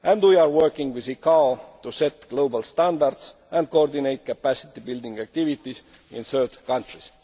services. And we are working within ICAO to set global standards and coordinate capacity building activities in third